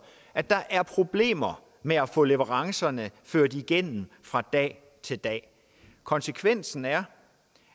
at der er problemer med at få leverancerne ført igennem fra dag til dag konsekvensen er